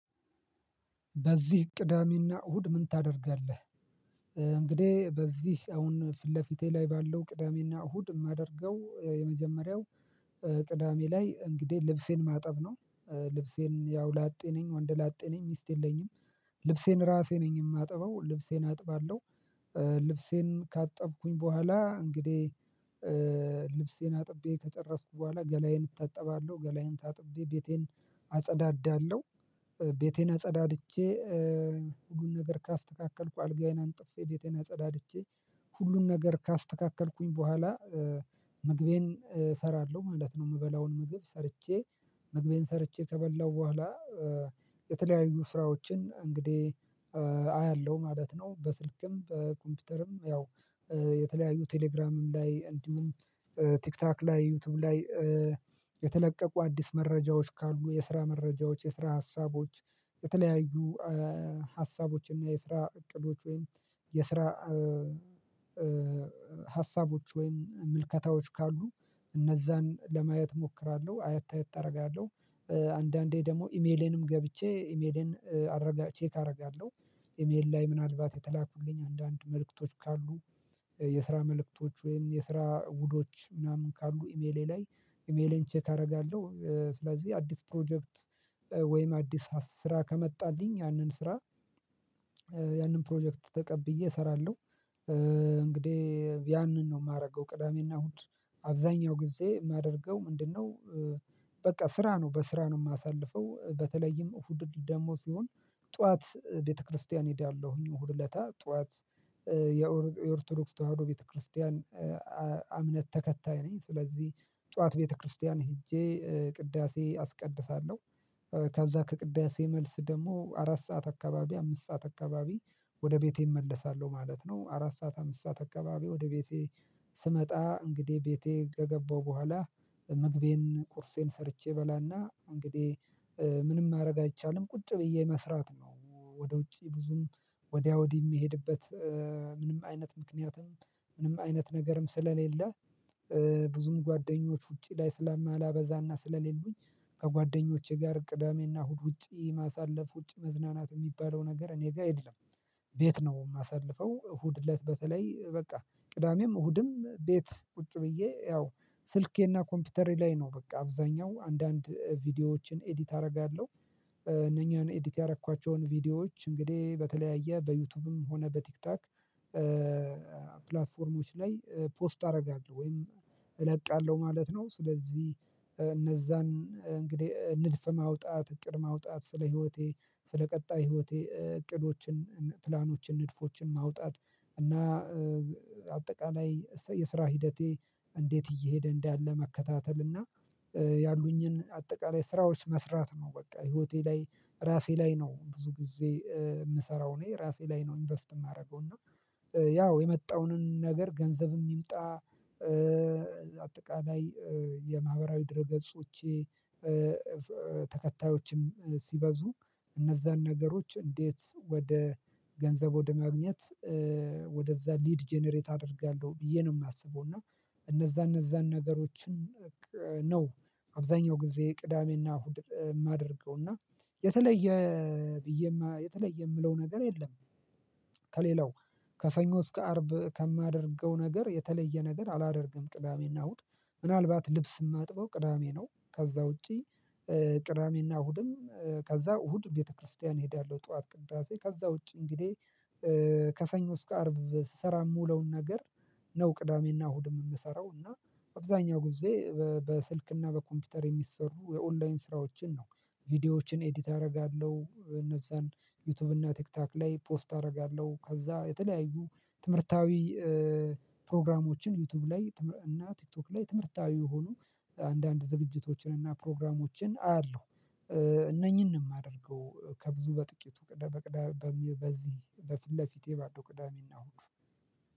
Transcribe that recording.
በዚህ ቅዳሜና እሁድ ምን ታደርጋለህ? እንግዲህ በዚህ አሁን ፊት ለፊቴ ላይ ባለው ቅዳሜና እሁድ የማደርገው የመጀመሪያው ቅዳሜ ላይ እንግዲህ ልብሴን ማጠብ ነው። ልብሴን ያው ላጤ ነኝ ወንድ ላጤ ነኝ ሚስት የለኝም ልብሴን ራሴ ነኝ የማጥበው ልብሴን አጥባለሁ ልብሴን ካጠብኩኝ በኋላ እንግዲህ ልብሴን አጥቤ ከጨረስኩ በኋላ ገላዬን እታጠባለሁ ገላዬን ታጥቤ ቤቴን አጸዳዳለሁ ቤቴን አጸዳድቼ ሁሉን ነገር ካስተካከልኩ አልጋዬን አንጥፌ ቤቴን አጸዳድቼ ሁሉን ነገር ካስተካከልኩኝ በኋላ ምግቤን እሰራለሁ ማለት ነው የምበላውን ምግብ ሰርቼ ምግቤን ሰርቼ ከበላሁ በኋላ የተለያዩ ስራዎችን እንግዲህ አያለሁ ማለት ነው በስልክም በኮምፒውተርም ያው የተለያዩ ቴሌግራምም ላይ እንዲሁም ቲክቶክ ላይ ዩቲዩብ ላይ የተለቀቁ አዲስ መረጃዎች ካሉ የስራ መረጃዎች የስራ ሀሳቦች የተለያዩ ሀሳቦች እና የስራ እቅዶች ወይም የስራ ሀሳቦች ወይም ምልከታዎች ካሉ እነዛን ለማየት እሞክራለሁ አየት አየት አደርጋለሁ አንዳንዴ ደግሞ ኢሜሌንም ገብቼ ኢሜሌን ቼክ አደርጋለሁ ኢሜል ላይ ምናልባት የተላኩልኝ አንዳንድ መልእክቶች ካሉ የስራ መልእክቶች ወይም የስራ ውሎች ምናምን ካሉ ኢሜሌ ላይ ኢሜሌን ቼክ አደርጋለሁ ስለዚህ አዲስ ፕሮጀክት ወይም አዲስ ስራ ከመጣልኝ ያንን ስራ ያንን ፕሮጀክት ተቀብዬ እሰራለሁ። እንግዲህ ያንን ነው የማደርገው ቅዳሜና እሁድ አብዛኛው ጊዜ የማደርገው ምንድነው በቃ ስራ ነው በስራ ነው የማሳልፈው በተለይም እሁድ ደሞዝ ይሁን ጠዋት ቤተክርስቲያን እሄዳለሁኝ እሁድ እለታ ጠዋት የኦርቶዶክስ ተዋህዶ ቤተክርስቲያን እምነት ተከታይ ነኝ ስለዚህ ጠዋት ቤተክርስቲያን ሄጄ ቅዳሴ አስቀድሳለሁ ከዛ ከቅዳሴ መልስ ደግሞ አራት ሰዓት አካባቢ አምስት ሰዓት አካባቢ ወደ ቤቴ እመለሳለሁ ማለት ነው አራት ሰዓት አምስት ሰዓት አካባቢ ወደ ቤቴ ስመጣ እንግዲህ ቤቴ ከገባሁ በኋላ ምግቤን ቁርሴን ሰርቼ በላና እንግዲህ ምንም ማድረግ አይቻልም ቁጭ ብዬ መስራት ነው ወደ ውጪ ብዙም ወዲያ ወዲህ የሚሄድበት ምንም አይነት ምክንያትም ምንም አይነት ነገርም ስለሌለ ብዙም ጓደኞች ውጪ ላይ ስላላበዛና ስለሌሉኝ ከጓደኞቼ ጋር ቅዳሜና እሁድ ውጪ ማሳለፍ ውጪ መዝናናት የሚባለው ነገር እኔ ጋር አይደለም ቤት ነው የማሳልፈው እሁድ እለት በተለይ በቃ ቅዳሜም እሁድም ቤት ቁጭ ብዬ ያው ስልኬና ኮምፒውተሬ ላይ ነው በቃ አብዛኛው አንዳንድ ቪዲዮዎችን ኤዲት አደርጋለሁ እነኚህን ኤዲት ያደረኳቸውን ቪዲዮዎች እንግዲህ በተለያየ በዩቲዩብም ሆነ በቲክታክ ፕላትፎርሞች ላይ ፖስት አደርጋለሁ ወይም እለቃለሁ ማለት ነው። ስለዚህ እነዛን እንግዲህ ንድፍ ማውጣት እቅድ ማውጣት ስለ ህይወቴ ስለ ቀጣይ ህይወቴ እቅዶችን ፕላኖችን ንድፎችን ማውጣት እና አጠቃላይ የስራ ሂደቴ እንዴት እየሄደ እንዳለ መከታተል እና ያሉኝየምሰራው፣ ላይ ስራዎች መስራት ነው በቃ ህይወቴ ላይ ራሴ ላይ ነው ብዙ ጊዜ የምሰራው እኔ ራሴ ላይ ነው ኢንቨስት የማደርገው ነው ያው የመጣውንን ነገር ገንዘብም ይምጣ አጠቃላይ የማህበራዊ ድረ ገጾቼ ተከታዮችም ሲበዙ እነዛን ነገሮች እንዴት ወደ ገንዘብ ወደ ማግኘት ወደዛ ሊድ ጀነሬት አደርጋለሁ ብዬ ነው የማስበው እና እነዛ እነዛን ነገሮችን ነው አብዛኛው ጊዜ ቅዳሜና እሁድ የማደርገው እና የተለየ የተለየ የምለው ነገር የለም ከሌላው ከሰኞ እስከ አርብ ከማደርገው ነገር የተለየ ነገር አላደርግም። ቅዳሜና እሁድ ምናልባት ልብስ የማጥበው ቅዳሜ ነው፣ ከዛ ውጪ ቅዳሜና እሁድም ከዛ እሁድ ቤተክርስቲያን እሄዳለሁ ጠዋት ቅዳሴ ከዛ ውጪ እንግዲህ ከሰኞ እስከ አርብ ስሰራ የምውለውን ነገር ነው ቅዳሜና እሁድ የምሰራው እና አብዛኛው ጊዜ በስልክና በኮምፒውተር የሚሰሩ የኦንላይን ስራዎችን ነው ቪዲዮዎችን ኤዲት፤ አደርጋለሁ እነዛን ዩቲዩብ እና ቲክታክ ላይ ፖስት አደርጋለሁ። ከዛ የተለያዩ ትምህርታዊ ፕሮግራሞችን ዩቲዩብ ላይ እና ቲክቶክ ላይ ትምህርታዊ የሆኑ አንዳንድ ዝግጅቶችን እና ፕሮግራሞችን አያለሁ እነኚህንም የማደርገው ከብዙ በጥቂቱ ቅዳሜ በቅዳሜ በዚህ በፊት ለፊቴ ባዶ ቅዳሜና እሁዱ